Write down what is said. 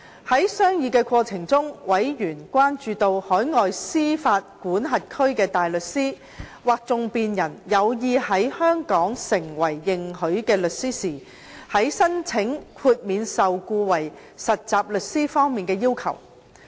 在商議過程中，委員關注到，海外司法管轄區的大律師或訟辯人有意在香港成為認許的律師時，在申請豁免受僱為實習律師方面的要求。